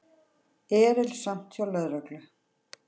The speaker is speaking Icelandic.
Erilsamt hjá lögreglu